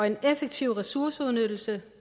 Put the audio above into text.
en effektiv ressourceudnyttelse